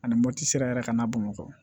Ani moti sira yɛrɛ ka n'a bamakɔ